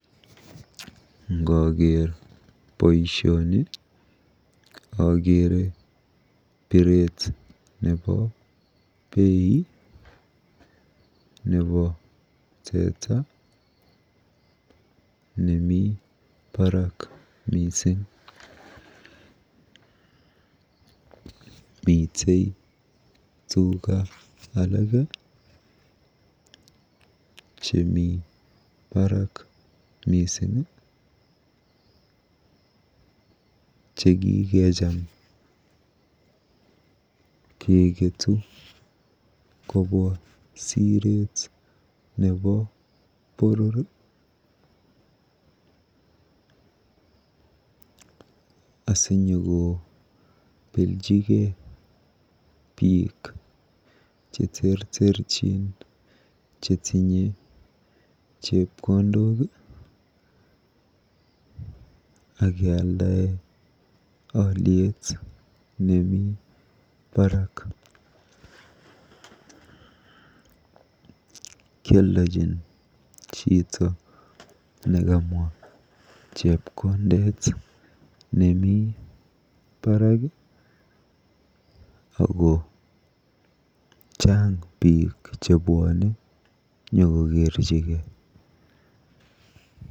Ngooker boisioni okeere biret nebo bei nebo teta nemi barak mising. Mitei tuga alage , chemi barak mising, chekikecham keketu kobwa siret nebo boror asinyokobeljigei biik cheterterchin chetinye chepkondok. Kioldojin chito nekamwa chepkondet nemi barak ako chang biik chebwone nyokokerjingei.